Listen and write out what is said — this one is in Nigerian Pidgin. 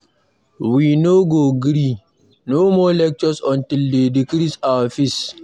We no go gree, no more lectures until dey decrease our fees.